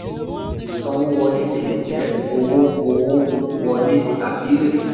ìsanwówọlé le jẹ́ owó owó wọlé tàbí èrè.